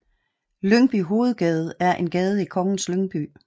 Lyngby Hovedgade er en gade i Kongens Lyngby